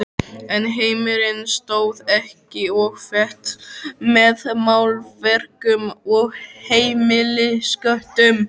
En heimurinn stóð ekki og féll með málverkum og heimilisköttum.